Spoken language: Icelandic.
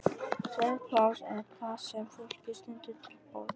Svefnpláss er það sem fólki stendur til boða.